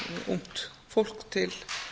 ungt fólk til